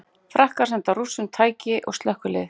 Frakkar senda Rússum tæki og slökkvilið